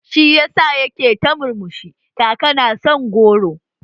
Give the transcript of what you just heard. Shi yasa yake ta murmushi, kaka na son goro